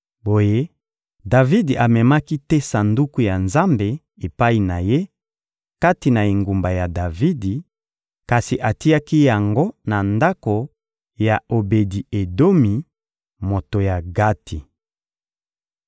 Boye, Davidi amemaki te Sanduku ya Nzambe epai na ye, kati na engumba ya Davidi; kasi atiaki yango na ndako ya Obedi-Edomi, moto ya Gati.